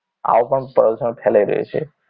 આવું પણ પ્રદૂષણ ફેલાઈ રહ્યું છે